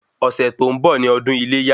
Ọ̀sẹ̀ tó ń bọ̀ ni ọdún iléyá